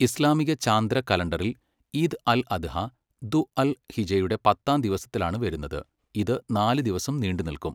ഇസ്ലാമിക ചാന്ദ്ര കലണ്ടറിൽ, ഈദ് അൽ അദ്ഹ, ദു അൽ ഹിജ്ജയുടെ പത്താം ദിവസത്തിലാണ് വരുന്നത്, ഇത് നാല് ദിവസം നീണ്ടുനിൽക്കും.